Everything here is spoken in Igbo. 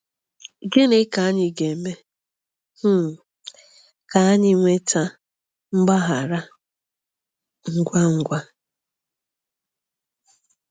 Gịnị ka anyị ga-eme um ka anyị nweta mgbaghara ngwa ngwa?